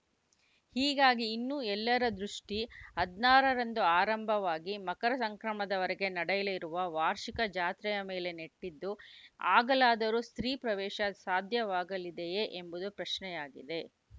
ಹೀಗಾಗಿ ಇನ್ನು ಎಲ್ಲರ ದೃಷ್ಟಿ ಹದಿನಾರರಂದು ಆರಂಭವಾಗಿ ಮಕರ ಸಂಕ್ರಮಣದ ವರೆಗೆ ನಡೆಯಲಿರುವ ವಾರ್ಷಿಕ ಜಾತ್ರೆಯ ಮೇಲೆ ನೆಟ್ಟಿದ್ದು ಆಗಲಾದರೂ ಸ್ತ್ರೀಪ್ರವೇಶ ಸಾಧ್ಯವಾಗಲಿದೆಯೇ ಎಂಬುದು ಪ್ರಶ್ನೆಯಾಗಿದೆ